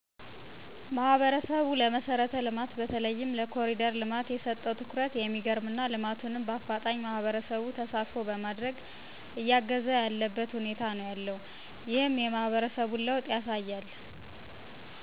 ማህበረሰቡ ለመሰረት ልማት በተለይም ለኮሪደር ልማት የሰጠው ትኩረት የሚገርም እና ልማቱም በአፋጣኝ ማህበረሰቡ ተሳትፎ በማድረግ እያገዘ ያለበት ሁኔታ ነው ያለው። ይህም የማህበረሰቡን ለወጥ ያሳያል።